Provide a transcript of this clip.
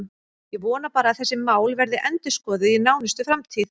Ég vona bara að þessi mál verði endurskoðuð í nánustu framtíð.